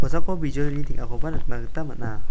kosako bijolini teng·akoba nikna gita man·a.